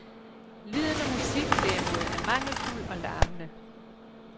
Lyden og musikken derimod er mangelfuld og larmende.